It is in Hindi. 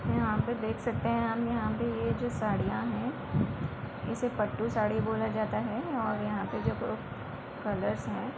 यहाँ पे देख सकते हैं हम यहाँ पे ये जो साड़ियां हैंइसे पटु साड़ी बोला जाता है और यहाँ पे जो कलरस हैं --